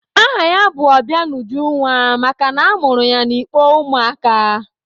Aha ya bụ Ọbịanujunwa makana a mụrụ ya n'ikpo ụmụ aka.